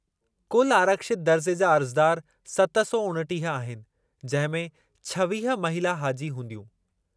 कुलु आरक्षित दर्ज़े जा अर्ज़दार सत सौ उणिटीह आहिनि, जंहिं में छवीह महिला हाजी हूंदियूं।